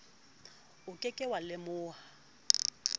o ke ke wa lemoha